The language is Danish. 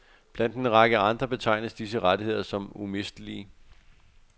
Blandt en række andre betegnes disse rettigheder som umistelige.